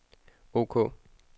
ok